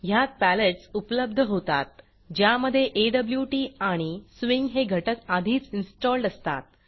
ह्यात पॅलेटस उपलब्ध होतात ज्यामधे ऑट आणि स्विंग हे घटक आधीच इन्स्टॉल्ड असतात